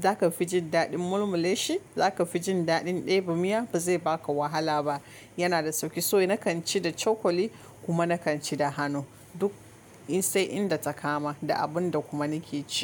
zaka fi jin daɗin mulmuleshi zaka fi jin daɗin ɗebo miya ba zai baka wahala ba. Yana da sauki so nakan ci da cokali kuma nakan ci da hanu duk in sai inda ta kama da abin da kuma nake ci.